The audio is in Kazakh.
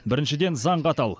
біріншіден заң қатал